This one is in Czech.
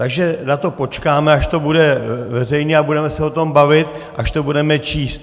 Takže na to počkáme, až to bude veřejně, a budeme se o tom bavit, až to budeme číst.